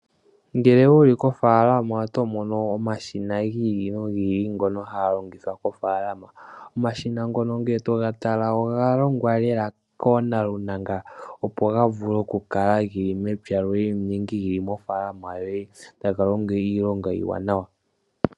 Ngele wuli kofaalama otomono omashina giili nogiili ngono haalingitha kofaalama. Omashina ngono ngele toga tala ogalongwa lela nawa koonalunanga opo gavule okukala geli mepya loye nenge geli moofaalamo yoye taga longo iilonga iiwanawa.